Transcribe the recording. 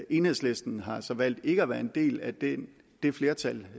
enhedslisten har så valgt ikke at være en del af det det flertal